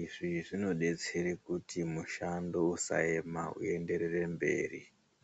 Izvi zvinobetsere kuti mushando usaema uenderere mberi.